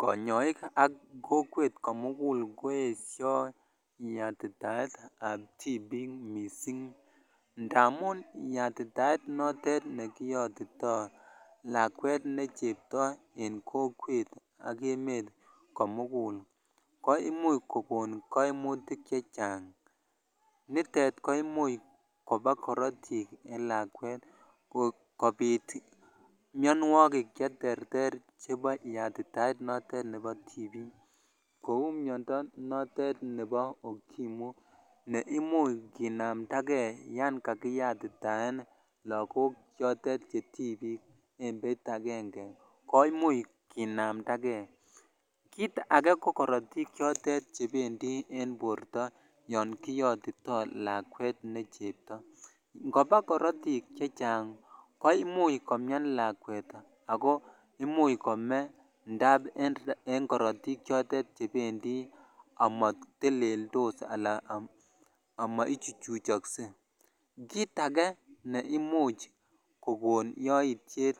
konyoiki ak kokwet komugul koesho yatitaetab tibik mising ndamun yatitaet notet nekiyotito lakwet ne chepto en kokwet ak emet komugul koimuch kogon koimutik chechang nitet koimuch koba korotik en lakwet kobit mionwokik cheterter chepo yatitaet notet nepo tibik kou miondo notet nepo okimwi neimuch kinamnda kee yoon kakiyatitaet lagok choto che tibik embeit agenge kimuch kinamndagee kit age kokorotik chotet chependi en borto yoon kiyotito lakwet ne chebto ngopa korotik chechang koimuch komian lakwet ako imuch kome ndap en korotik chotetchepndi amoteleldos ala amo ichuchuchokse kit age neimuch kokon yoitiet